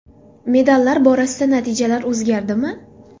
Medallar borasidagi natijalar o‘zgardimi?